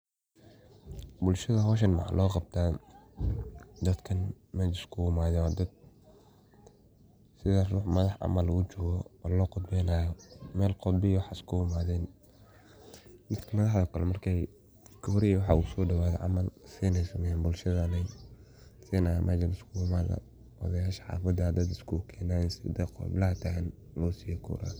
Bulshada meshaan an ujedo waxey uu muqdan, kuwo dadkan meshan iskugu imaden oo lo qudbeynayo oo wax hagajinayan ayey u egtahya , sidhaa rux madax ah inu yimade camal.